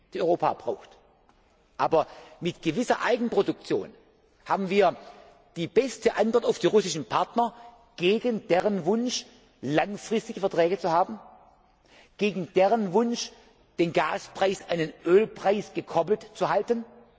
die Europa braucht, durch shale gas abgedeckt werden, mit einer gewissen Eigenproduktion haben wir die beste Antwort auf die russischen Partner gegen deren Wunsch, langfristige Verträge zu haben, gegen deren Wunsch, den Gaspreis an den Ölpreis gekoppelt zu